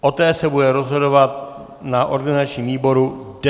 O té se bude rozhodovat na organizačním výboru 10. května.